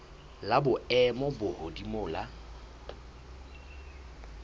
la boemo bo hodimo la